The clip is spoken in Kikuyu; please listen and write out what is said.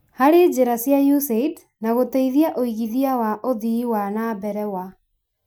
harĩ njĩra cia USAID na gũteithia ũigithia wa ũthii wa na mbere wa